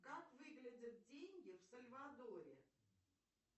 как выглядят деньги в сальвадоре